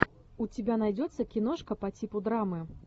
у тебя найдется киношка по типу драмы